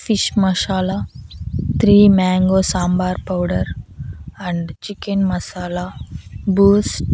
fish masala three mango sambar powder and chicken masala Boost --